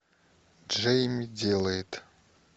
джейми делает